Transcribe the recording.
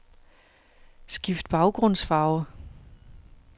Skift baggrundsfarve.